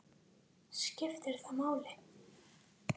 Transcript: skiptir það máli?